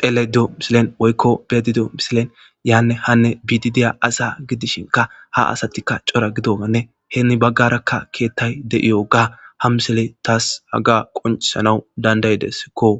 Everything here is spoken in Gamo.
dhelayda de'iyo missilen be'ayda diyo missiliyan yane hane bidi diya asa gidishinka ha asatika c'ora gidogane hini bagaraka kethay de'yoga ha missile tas Haga qonc'isanw danda'desko.